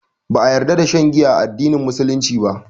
Ba a ƴarda da shan giya a addinin musulunci ba.